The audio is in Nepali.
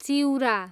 चिउरा